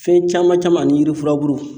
Fɛn caman caman ani yiri furabulu